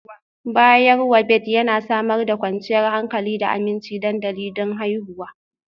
Bayarwa Bed Yana Samar da kwanciyar hankali da aminci dandali don haihuwa